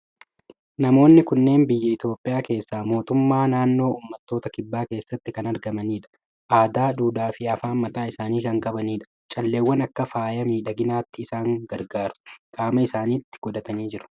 Namoonni kunneen biyya Itoophiyaa keessaa mootummaa naannoo Uummattoota kibbaa keessatti kan argamanidha. Aadaa, duudhaa fi afaan mataa isaanii kan qabanidha. Calleewwan akka faaya miidhaginaatti isaan gargaaru qaama isaaniitti godhatanii jiru.